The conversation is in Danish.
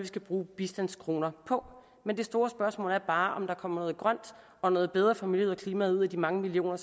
skal bruge bistandskroner på men det store spørgsmål er bare om der kommer noget grønt og noget bedre for miljøet og klimaet ud af de mange millioner